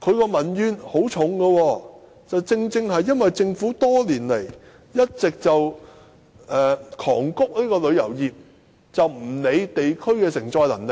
只要問問他們，便知道民怨很深，原因正是政府多年來大力催谷旅遊業，卻忽略了地區的承載能力。